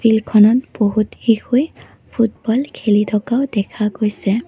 ফিল্ডখনত বহুত শিশুৱে ফুটবল খেলি থকাও দেখা গৈছে।